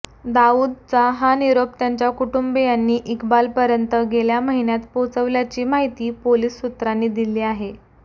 दाऊदचा हा निरोप त्याच्या कुटुंबीयांनी इक्बालपर्यंत गेल्या महिन्यात पोहोचविल्याची माहिती पोलीस सूत्रांनी दिली आहे